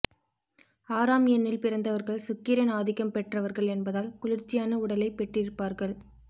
ஆறாம் எண்ணில் பிறந்தவர்கள் சுக்கிரன் ஆதிக்கம் பெற்றவர்கள் என்பதால் குளிர்ச்சியான உடலை பெற்றிருப்பார்கள்